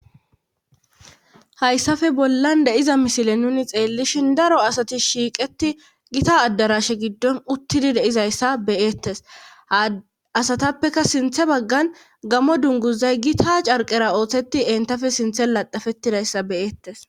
hayssafe bollan de7iza misile nuni xeellishin daro asati shiiqeti gita addarashe giddon uttidi deizayssa beyeettes asatappeka sinthe baggan gamo dunguzay gita carqera ooththeti entafe sinthe laxafetidayssa beyeettes